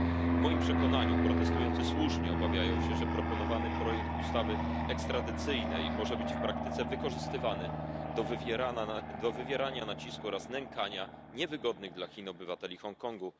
W moim przekonaniu protestujący słusznie obawiają się, że proponowany projekt ustawy ekstradycyjnej może być w praktyce wykorzystywany do wywierania nacisku oraz nękania niewygodnych dla Chin obywateli Hongkongu.